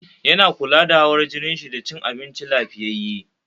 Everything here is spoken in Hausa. Yana kula da hawar jinin shi da cin abinci lafiyyaye